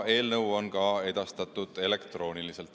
Eelnõu on edastatud elektrooniliselt.